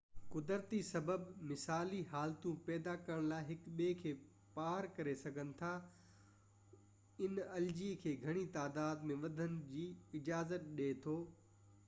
قدرتي سبب مثالي حالتون پيدا ڪرڻ لاءِ هڪ ٻئي کي پار ڪري سگهن ٿا هن الجي کي گهڻي تعداد ۾ وڌڻ جي اجازت ڏي ٿو